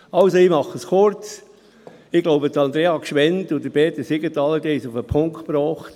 Ich mache es kurz, Andrea Gschwend und Peter Siegenthaler haben es auf den Punkt gebracht: